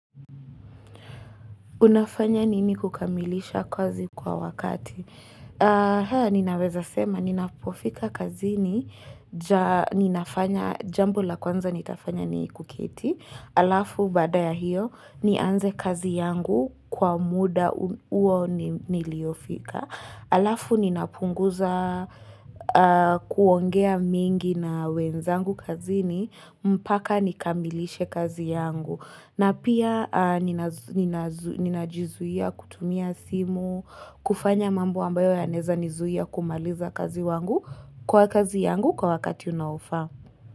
Unafanya nini kukamilisha kazi kwa wakati? Haa, ninaweza sema, ninapofika kazini, ninafanya, jambo la kwanza nitafanya ni kuketi, alafu baada ya hiyo, nianze kazi yangu kwa muda huo niliofika. Alafu ninapunguza kuongea mingi na wenzangu kazi ni mpaka nikamilishe kazi yangu. Na pia ninajizuia kutumia simu, kufanya mambo ambayo yanaeza nizuia kumaliza kazi wangu kwa kazi yangu kwa wakati unaofaa.